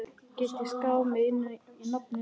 Get ég skráð mig inn í námið núna?